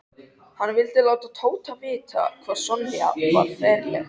Hann vildi láta Tóta vita hvað Sonja var ferleg.